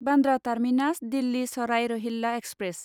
Bandra terminus Delhi Sarai Rohilla express